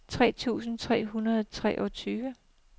tre tusind tre hundrede og treogtyve